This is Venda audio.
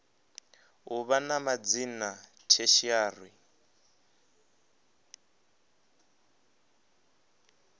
u vha na madzina tertiary